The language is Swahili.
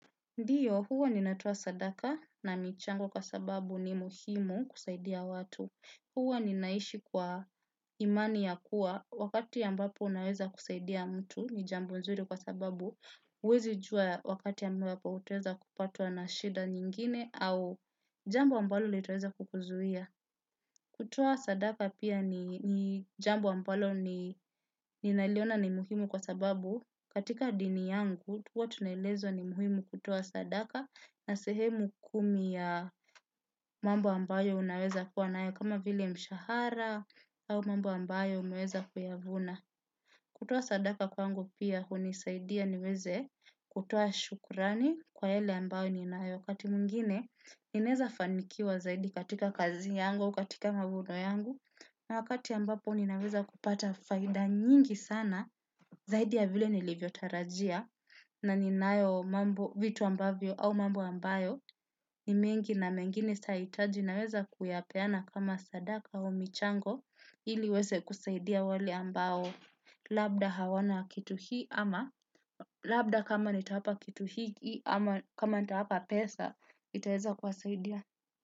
Ndiyo, huwa ninatowa sadaka na michango kwa sababu ni muhimu kusaidia watu. Huwa ninaishi kwa imani ya kuwa wakati ambapo ninaweza kusaidia mtu ni jambo nzuri kwa sababu. Huwezi jua wakati ambapo utaweza kupatwa na shida nyingine au jambo ambalo litaweza kukuzuia. Kutoa sadaka pia ni jambo ambalo ni naliona ni muhimu kwa sababu. Katika dini yangu, huwa tunaelezwa ni muhimu kutoa sadaka na sehemu kumi ya mambo ambayo unaweza kuwa nayo kama vile mshahara au mambo ambayo umeweza kuyavuna. Kutoa sadaka kwangu pia, hunisaidia niweze kutoa shukurani kwa yale ambayo ninayo. Wakati mwingine, ninaweza fanikiwa zaidi katika kazi yangu au katika mavuno yangu, na wakati ambapo ninaweza kupata faida nyingi sana, zaidi ya vile nilivyo tarajia, na ninayo vitu ambavyo au mambo ambayo, ni mengi na mengine saitayahitaji naweza kuyapeana kama sadaka wa michango, ili iweze kusaidia wale ambao, labda hawana kitu hii, ama labda kama nitawapa kitu hii, ama kama nitawapa pesa, itaweza kuwasaidia.